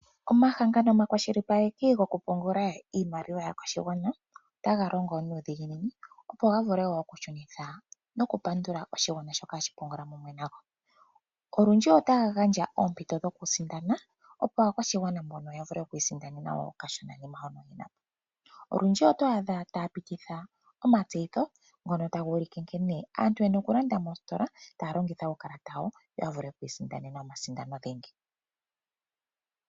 Omahangano omakwashilipaleki gokupungula iimaliwa yaakwashigwana otaga longo nuudhiginini opo ga vule okushunitha nokupandula oshigwana shoka hashi pungula pamwe nago. Olundji otaya gandja oompito dhokusindana opo aakwashigwana mbono ya vule oku isindanena okashonanima hono yena po. Olundji oto adha taya pititha omatseyitho ngono taga ulike nkene aanntu yena okulanda noositola taya longitha uukalata wayo yo ya vule oku isindanena omasindano dhingi.